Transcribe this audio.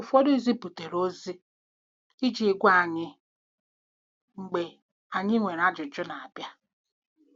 Ụfọdụ ziputere ozi iji gwa anyị mgbe anyị nwere ajụjụ na-abịa.